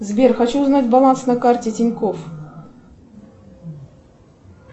сбер хочу узнать баланс на карте тинькофф